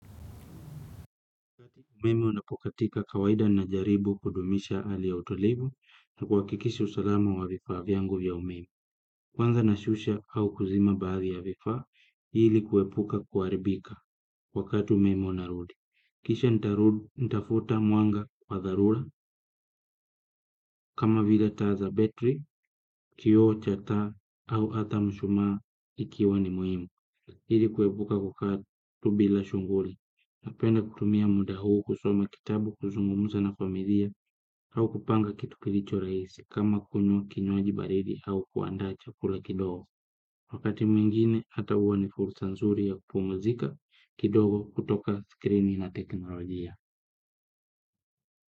Umeme unapokatika kawaida najaribu kudumisha hali ya utulivu na kuhakikisha usalama wa vifaa vyangu ya umeme. Kwanza nashusha au kuzima baadhi ya vifa, ili kuepuka kuharibika wakati umeme unarudi. Kisha natafuta mwanga kwa dhalura kama vila taa za betri, kioo cha taa au hata mshumaa ikiwa ni muhimu. Hili kuepuka kukaa tu bila shughuli, napenda kutumia muda huu kusoma kitabu kuzungumuza na familia au kupanga kitu kilicho rahisi kama kunywa kinywaji baridi au kuandaa chakula kidogo. Wakati mwingine hata huwa ni fursa nzuri ya kupumzika kidogo kutoka skrini na teknolojia.